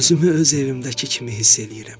Özümü öz evimdəki kimi hiss eləyirəm.